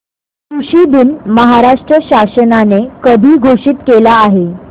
कृषि दिन महाराष्ट्र शासनाने कधी घोषित केला आहे